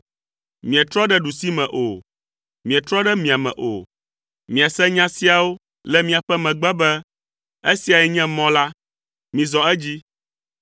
Mietrɔ ɖe ɖusime o, mietrɔ ɖe miame o, miase nya siawo le miaƒe megbe be, “Esiae nye mɔ la, mizɔ edzi.”